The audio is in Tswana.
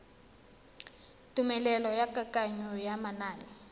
tumelelo ya kananyo ya manane